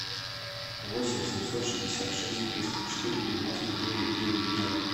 восемь семьсот шестьдесят шесть триста четыре девяносто девять девять ноль